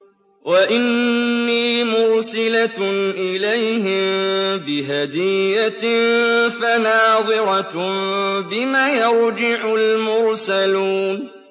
وَإِنِّي مُرْسِلَةٌ إِلَيْهِم بِهَدِيَّةٍ فَنَاظِرَةٌ بِمَ يَرْجِعُ الْمُرْسَلُونَ